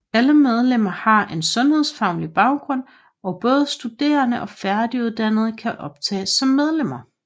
Alle medlemmer har en sundhedsfaglig baggrund og både studerende og færdiguddannede kan optages som medlemmer